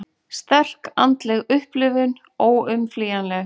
Sterk andleg upplifun óumflýjanleg